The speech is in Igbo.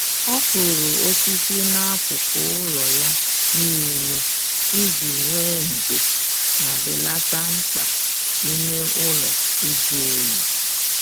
Ọ kụrụ osisi n'akụkụ ụlọ ya niile iji nwee ndo ma belata mkpa ime ụlọ ịjụ oyi